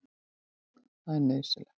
Það er nauðsynlegt.